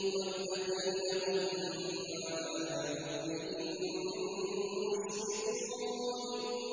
وَالَّذِينَ هُم مِّنْ عَذَابِ رَبِّهِم مُّشْفِقُونَ